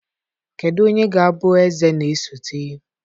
Kedu onye ga-abụ eze na-esote?